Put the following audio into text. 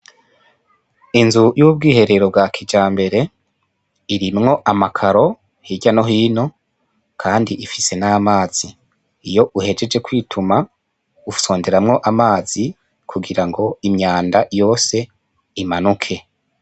Inzu y'ubwiherero bwa kijambere irimwo amakaro hirya nohino, kandi ifise n'amazi, iyo uhejeje kwituma ufyonderamwo amazi kugirango imyanda yose imanuke.